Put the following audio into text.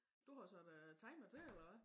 Du har så været timer til eller hvad?